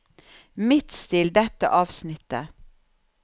Midtstill dette avsnittet